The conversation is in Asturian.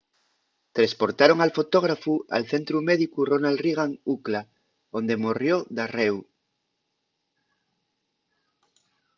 tresportaron al fotógrafu al centru médicu ronald reagan ucla onde morrió darréu